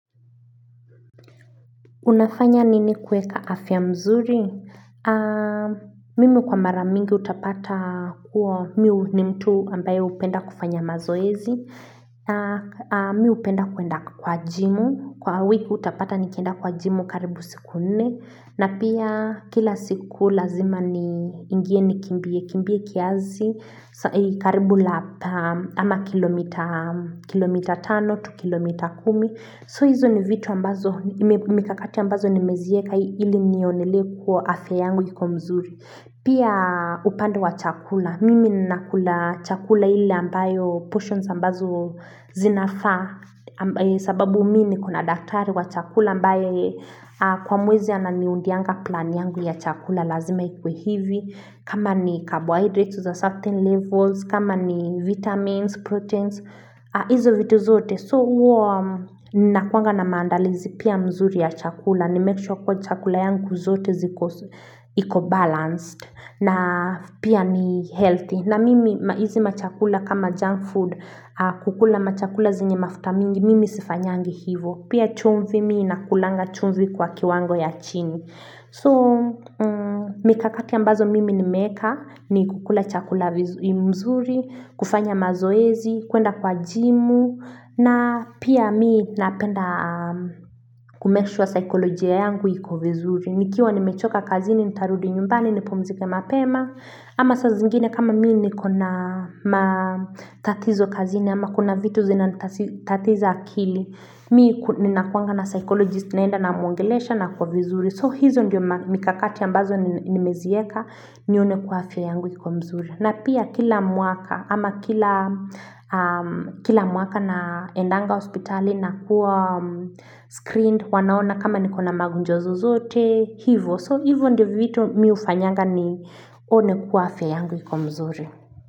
Unafanya nini kuweka afya mzuri? Mimi kwa mara mingi utapata kua, mi ni mtu ambaye hupenda kufanya mazoezi. Mi hupenda kuenda kwa jimu, kwa wiki utapata nikenda kwa jimu karibu siku nne. Na pia kila siku lazima ni ingie nikimbie, kimbie kiazi, karibu lap ama kilomita, kilomita tano to kilomita kumi. So hizo ni vitu ambazo mekakati ambazo nimezieka ili nionelee kua afya yangu iko mzuri. Pia upande wa chakula. Mimi nina kula chakula ile ambayo potions ambazo zinafaa. Sababu mi niko na daktari wa chakula ambayo kwa mwezi ananiundianga plan yangu ya chakula lazima ikuwe hivi. Kama ni carbohydrates to the certain levels kama ni vitamins, proteins Izo vitu zote So hua nakuanga na maandalizi pia mzuri ya chakula ni make sure kuwa chakula yangu zote ziko iko balanced na pia ni healthy na mimi hizii machakula kama junk food kukula machakula zenye mafuta mingi Mimi sifanyangi hivo Pia chumvi mi na kulanga chumvi kwa kiwango ya chini So, mikakati ambazo mimi nimeka ni kukula chakula mzuri, kufanya mazoezi, kuenda kwa jimu, na pia mii napenda ku make sure psychologia yangu iko vizuri. Nikiwa nimechoka kazini, nitarudi nyumbani, nipumzika mapema, ama saa zingine kama mii nikona tatizo kazini, ama kuna vitu zinanitatiza akili. Mi ninakuanga na psychologist naenda namwongelesha nakuwa vizuri. So hizo ndio mikakati ambazo nimezieka nione kuwa afya yangu iko mzuri. Na pia kila mwaka ama kila mwaka naendanga hospitali na kuwa screened wanaona kama niko na magonjwa zozote hivo. So hivo ndio vitu mi hufanyanga nione kuwa afya yangu iko mzuri.